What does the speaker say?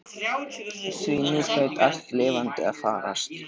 Því nú hlaut allt lifandi að farast.